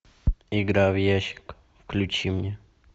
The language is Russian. игра в ящик включи мне